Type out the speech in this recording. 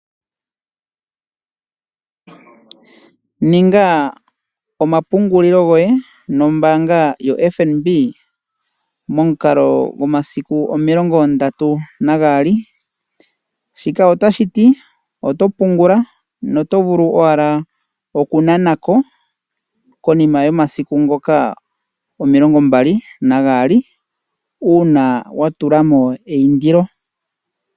Ninga omapungulilo goye momukala gwaFNB momasiku 32. Shika otashi yi oto pungula noto vulu owala oku nana ko omasiku 32 uuna wa tula mo eindilo.